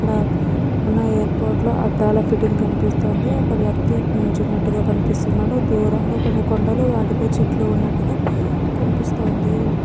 ఇక్కడ ఉన్న ఎయిర్పోర్ట్ లో అక్కడ ఫిటింగ్ కనిపిస్తుంది. ఒక వ్యక్తి ఇక్కడి నుంచున్నట్టుగా కనిపిస్తున్నాడు. దూరంగా కొన్ని కొండలు వాటిపై చెట్లు ఉన్నట్టుగా కనిపిస్తోంది.